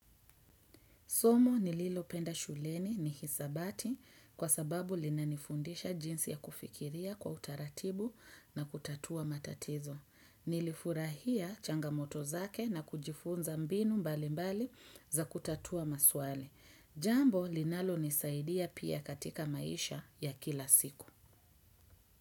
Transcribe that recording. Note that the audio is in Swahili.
Somo nililopenda shuleni ni hisabati kwa sababu linanifundisha jinsi ya kufikiria kwa utaratibu na kutatua matatizo. Nilifurahia changamoto zake na kujifunza mbinu mbali mbali za kutatua maswali. Jambo linalonisaidia pia katika maisha ya kila siku.